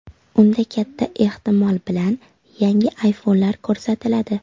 Unda, katta ehtimol bilan, yangi ayfonlar ko‘rsatiladi.